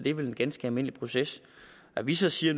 er vel en ganske almindelig proces at vi så siger